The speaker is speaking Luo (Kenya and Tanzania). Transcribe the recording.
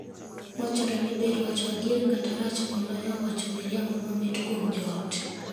Wachore ni ber wacho adier kata rach moloyo wacho miriambo mamit kuom joot.